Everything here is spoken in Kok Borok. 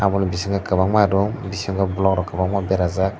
aboni bisingo kwbangma room bisingo block rok kwbangma bera jak.